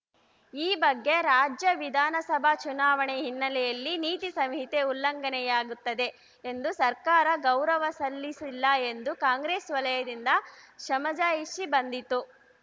ಈ ಬಗ್ಗೆ ರಾಜ್ಯ ವಿಧಾನಸಭಾ ಚುನಾವಣೆ ಹಿನ್ನೆಲೆಯಲ್ಲಿ ನೀತಿ ಸಂಹಿತೆ ಉಲ್ಲಂಘನೆಯಾಗುತ್ತದೆ ಎಂದು ಸರ್ಕಾರ ಗೌರವ ಸಲ್ಲಿಸಿಲ್ಲ ಎಂದು ಕಾಂಗ್ರೆಸ್‌ ವಲಯದಿಂದ ಸಮಜಾಯಿಷಿ ಬಂದಿತ್ತು